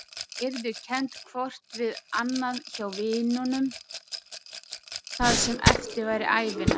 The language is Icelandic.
Þau yrðu kennd hvort við annað hjá vinunum það sem eftir væri ævinnar.